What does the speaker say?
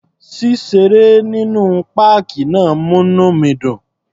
Ṣíṣeré nínú páàkì náà múní mi dùn.